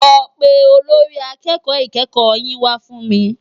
Lò pé ólórì àkèkò ikèékò yin wá fún mi